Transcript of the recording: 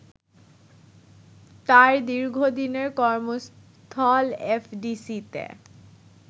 তার দীর্ঘদিনের কর্মস্থল এফডিসিতে